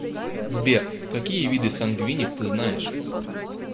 сбер какие виды сангвиник ты знаешь